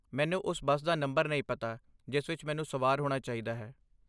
ਮੈਨੂੰ ਉਸ ਬੱਸ ਦਾ ਨੰਬਰ ਨਹੀਂ ਪਤਾ ਜਿਸ ਵਿੱਚ ਮੈਨੂੰ ਸਵਾਰ ਹੋਣਾ ਚਾਹੀਦਾ ਹੈ।